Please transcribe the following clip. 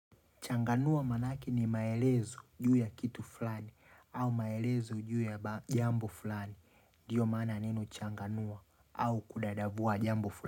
Changanua manaki ni maelezo juu ya kitu fulani au maelezo juu ya jambo fulani ndiyo maana linachanganua au kudadavua jambo fulani.